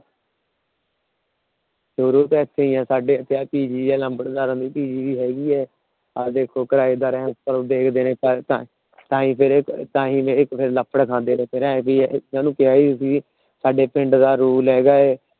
ਸ਼ੁਰੂ ਤੋਂ ਈ ਇੱਥੇ ਆ। ਸਾਡੇ ਇੱਥੇ Pg ਏ ਲੰਬੜਦਾਰਾਂ ਦੀ Pg ਹੇਗੀ ਏ। ਸਾਡੇ ਪਿੰਡ ਦਾ Rule ਹੇਗਾ।